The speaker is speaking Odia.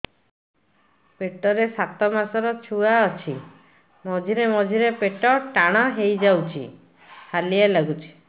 ପେଟ ରେ ସାତମାସର ଛୁଆ ଅଛି ମଝିରେ ମଝିରେ ପେଟ ଟାଣ ହେଇଯାଉଚି ହାଲିଆ ଲାଗୁଚି